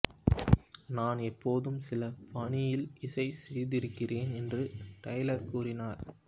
நான் எப்போதும் சில பாணியில் இசை செய்திருக்கிறேன் என்று டெய்லர் கூறினார்